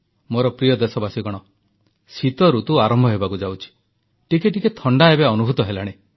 ମୋର ପ୍ରିୟ ଦେଶବାସୀଗଣ ଶୀତଋତୁ ଆରମ୍ଭ ହେବାକୁ ଯାଉଛି ଟିକିଏ ଟିକିଏ ଥଣ୍ଡା ଏବେ ଅନୁଭୂତ ହେଲାଣି